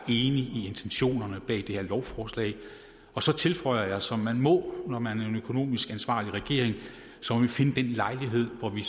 i intentionerne bag det her lovforslag og så tilføjer jeg som man må når man er en økonomisk ansvarlig regering at så må vi finde den lejlighed hvor vi